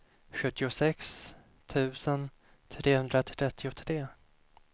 sjuttiosex tusen trehundratrettiotre